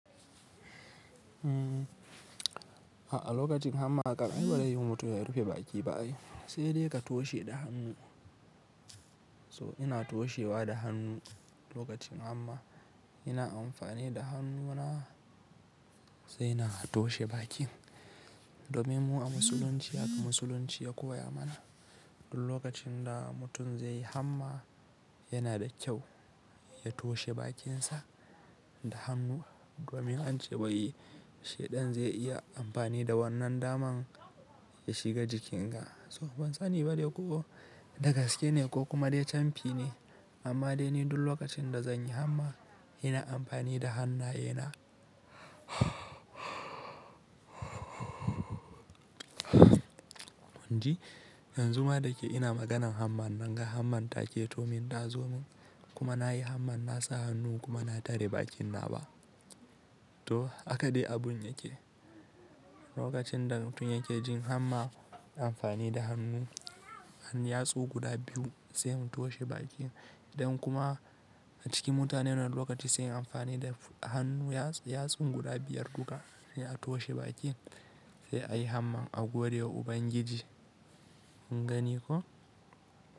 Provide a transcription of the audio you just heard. A'a lokacin hamma kan ai baraiyi mutum ya rufe baki ba ai, sai dai ka toshe da hannu. So ina toshewa da hannu lokacin hamma, ina amfani da hannuna sai na toshe bakin. Domin mu musulunci haka musulunci ya koya mana, duk lokacin da mutum zai yi hamma yana da kyau ya toshe bakinsa da hannu domin an ce wai, shaidan zai iya amfani da wannan daman ya shiga jikinga. To, ban sani ba dai, ko da gaske ne, ko kuma dai camfi ne amma dai ni duk lokacin da zanyi hamma, ina amfani da hannaye na. In ji yanzu ma da ke ina maganan hamman nan ga hamman ta ke to min tazo min kuma na yi hamman, na sa hannu, kuma na tare bakin na ba. To, haka dai abun yake, lokacin da mutum yake jin hamma, yayi amfani da hannu ɗan yatsu guda biyu sai mu toshe bakin, idan kuma a cikin mutane wani lokaci sai amfani da hannu yatsun guda biyar duka sai a toshe bakin sai ayi hamma a godewa Ubangiji, kun gani ko?